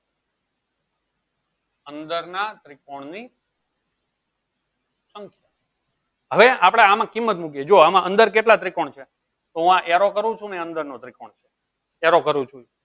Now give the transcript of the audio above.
અંદરના ત્રિકોણન સંખ્યા હવે આપણે આમાં કિંમત મુકીએ. જો અમમ અંદર કેટલા ત્રિકોણ છે? તો હું આ arrow કરૂ છું એ અંદર ના ત્રિકોણ છે. arrow કરૂ છું એ